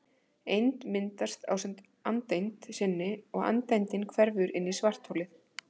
Eind myndast ásamt andeind sinni og andeindin hverfur inn í svartholið.